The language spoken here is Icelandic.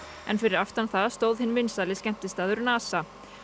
en fyrir aftan það stóð hinn vinsæli skemmtistaður NASA